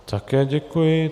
Také děkuji.